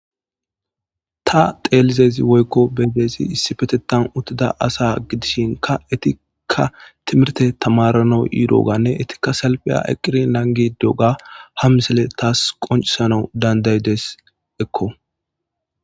Ta dhelaydayzi woyko be'idaysi issipetetan utida asa gidishinka etika timirte tamaranaw yrogane etika salpiya eqidi nangidi diyoga ha missile tas qonc'isanw danda'desko.